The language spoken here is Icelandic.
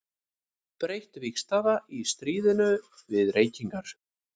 Breytt vígstaða í stríðinu við reykingar.